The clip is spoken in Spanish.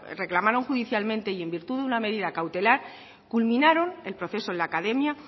reclamaron judicialmente y en virtud de una medida cautelar culminaron el proceso en la academia